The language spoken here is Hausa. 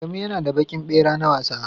Adamu ya na da baƙin ɓera na wasa